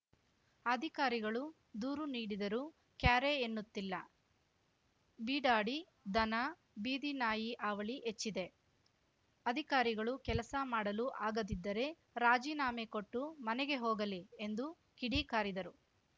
ಅಧಿಕಾರಿಗಳು ದೂರು ನೀಡಿದರೂ ಕ್ಯಾರೆ ಎನ್ನುತ್ತಿಲ್ಲ ಬೀಡಾಡಿ ದನ ಬೀದಿ ನಾಯಿ ಹಾವಳಿ ಹೆಚ್ಚಿದೆ ಅಧಿಕಾರಿಗಳು ಕೆಲಸ ಮಾಡಲು ಆಗದಿದ್ದರೆ ರಾಜಿನಾಮೆ ಕೊಟ್ಟು ಮನೆಗೆ ಹೋಗಲಿ ಎಂದು ಕಿಡಿಕಾರಿದರು